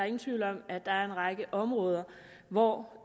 ingen tvivl om at der er en række områder hvor